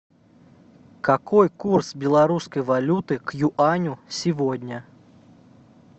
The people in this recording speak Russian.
какой курс белорусской валюты к юаню сегодня